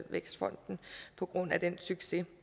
vækstfonden på grund af den succes